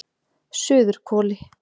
Suðurhvoli